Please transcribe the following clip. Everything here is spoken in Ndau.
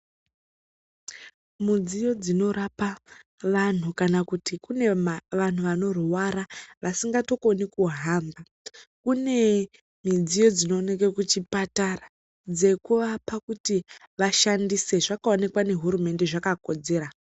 Mudziyo dzinorapa vantu kana kuti kune vantu vanorwara vasingatokoni kuhamba. Kune midziyo dzinooneke kuchipatara dzekuapa kuti vashandise. Zvakaonekwa nehurumende zvakakodzera.